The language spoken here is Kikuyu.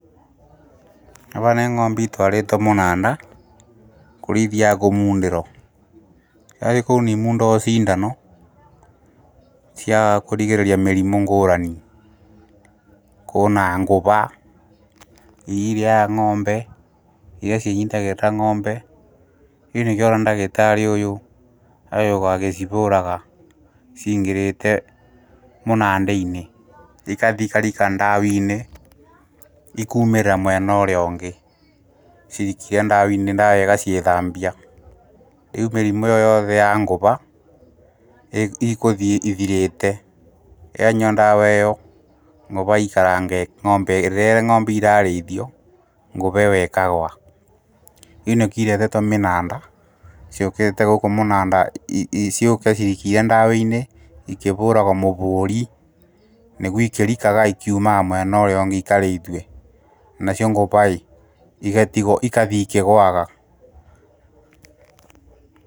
Ava nĩ ngo’mbe itwarĩtwo mũnanda, kũrĩa ithiaga kũmundĩrwo, ciathi kũu nĩimundagwo ciindano, cia kũrigĩrĩria mĩrimũ ngũrani, kũna ngũva ,iria irĩaga ngo’mbe iria cinyitagĩrĩra ng’ombe ,nĩkĩo ũrona dagĩtarĩ ũyũ agĩũka agĩcivũũraga ciingĩrĩte mũnanda-inĩ ikathi ikarika ndawa-inĩ ikuumĩrĩra mwenorĩa ũngĩ cirikia ndawa-inĩ ndawa ĩgacithambia, rĩu mĩrimũ ĩyo yoothe ya ngũva ikũthiĩ ithirĩte yanyua ndawa ĩyo rĩrĩa ng’ombeyo ĩrarĩithio ngũva iyo ĩkagũa, rĩu nĩkio iretetwo mĩnanda ciũkite gũkũ munanda ciũke ciikio ndawa-inĩ ikĩvũũragwo mũvũũri nĩgu ikĩrikaga ikiumaga mwenorĩongĩ ikarĩithue, nacio ngũvaĩ igatigo ikathi ikĩgũaga .